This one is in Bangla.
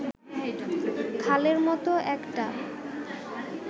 খালের মত একটা